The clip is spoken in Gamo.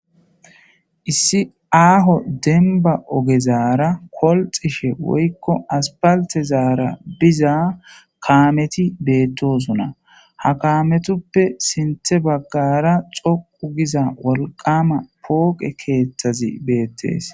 issi aaho denba ogezaara kolxishe woykko aspaltezaara biza kaameti beettosuna ha kaametuppe sinte baggara xoqu giza wolqama pooqe keeththazi beettees